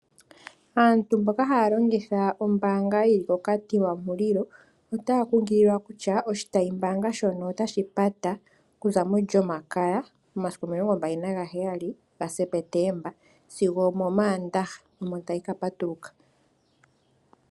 Aantu mboka haya longitha ombaanga ndjoka yi li koKatima Mulilo otaya kunkililwa kutya oshitayimbaanga shono otashi pata okuza molyomakaya omasiku 27 September notashi ka patuluka mOmaandaha omasiku 29 September.